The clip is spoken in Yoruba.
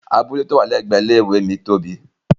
Abule ti o wa ni ẹgbẹ ilé ìwé mii tóbi.